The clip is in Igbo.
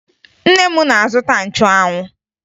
Nne m na-azụta nchụanwụ